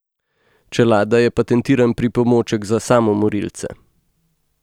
Čelada je patentiran pripomoček za samomorilce.